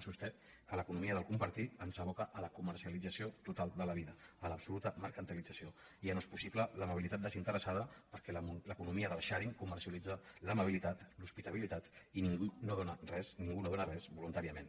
sosté que l’economia del compartir ens aboca a la comercialització total de la vida a l’absoluta mercan·tilització ja no és possible l’amabilitat desinteressada perquè l’economia del sharingbilitat l’hospitabilitat i ningú no dóna res ningú no dóna res voluntàriament